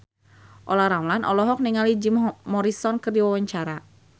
Olla Ramlan olohok ningali Jim Morrison keur diwawancara